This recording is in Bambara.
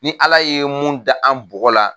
Ni Ala ye mun da an bɔgɔ la